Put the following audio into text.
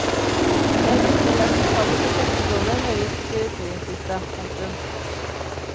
Det er blitt mer akseptabelt å sette dollar høyest på prioriteringslista. punktum